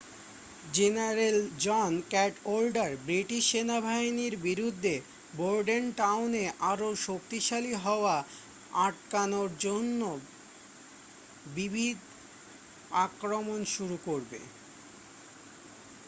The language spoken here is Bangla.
জেনারেল জন ক্যাডওয়াল্ডার ব্রিটিশ সেনাবাহিনীর বিরুদ্ধে বোর্ডেনটাউনে আরও শক্তিশালী হওয়া আটকানোর জন্য বিবিধ আক্রমণ শুরু করবে